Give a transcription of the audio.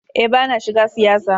Eh bana shiga siyasa.